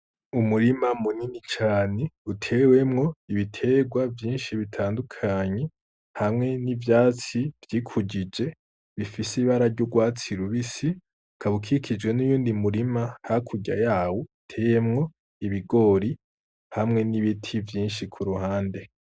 Umurima munini cane utewemwo ibiterwa vyinshi bitandukanyi hamwe n'ivyatsi vyikujije bifise ibara ry'urwatsi rubisi kabukikijwe n'iyundi murima hakurya yawo iteyemwo ibigori hamwe n'ibiti vyinshi ku ruhande.